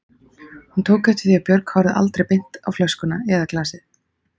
Hún tók eftir því að Björg horfði aldrei beint á flöskuna eða glasið.